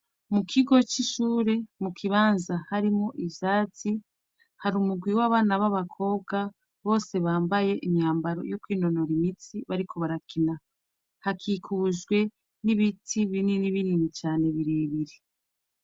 Mukigo c’ishure ,mukibanza harimwo ivyatsi, har’umugwi w’abana babakobwa bose bambaye imyambaro yo kwinonora imitsi bariko barakina. Hakikujwe nibiti binini binini cane birebire.